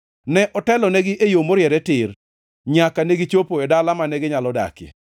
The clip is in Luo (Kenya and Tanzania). Ne otelonegi e yo moriere tir, nyaka negichopo e dala, mane ginyalo dakie.